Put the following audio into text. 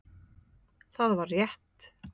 Það var rétt.